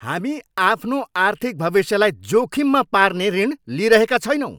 हामी आफ्नो आर्थिक भविष्यलाई जोखिममा पार्ने ऋण लिइरहेका छैनौँ!